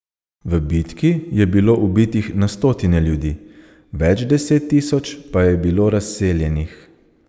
V bitki je bilo ubitih na stotine ljudi, več deset tisoč pa je bilo razseljenih.